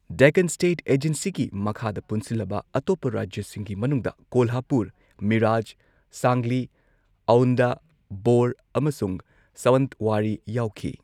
Deccan state ꯑꯦꯖꯦꯟꯁꯤꯒꯤ ꯃꯈꯥꯗ ꯄꯨꯟꯁꯤꯜꯂꯕ ꯑꯇꯣꯞꯄ ꯔꯥꯖ꯭ꯌꯁꯤꯡꯒꯤ ꯃꯅꯨꯡꯗ ꯀꯣꯜꯍꯥꯄꯨꯔ, ꯃꯤꯔꯥꯖ, ꯁꯥꯡꯂꯤ, ꯑꯥꯎꯟꯙ, ꯚꯣꯔ, ꯑꯃꯁꯨꯡ ꯁꯥꯋꯟꯠꯋꯥꯔꯤ ꯌꯥꯎꯈꯤ꯫